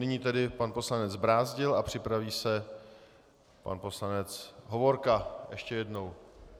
Nyní tedy pan poslanec Brázdil a připraví se pan poslanec Hovorka ještě jednou.